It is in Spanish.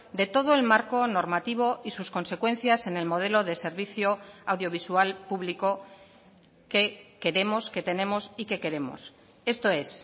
de todo el marco normativo y sus consecuencias en el modelo de servicio audiovisual público que queremos que tenemos y que queremos esto es